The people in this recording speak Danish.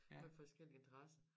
Med forskellig interesse